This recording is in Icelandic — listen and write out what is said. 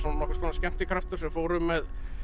nokkurs konar skemmtikraftur sem fór um með